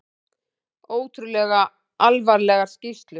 Ótrúlega alvarlegar skýrslur